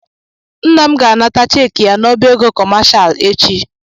Nna m ga-ana ta cheekị ya n'ọbá ego kọmashal echi.